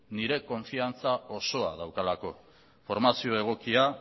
nire konfidantza osoa daukalako formazio egokia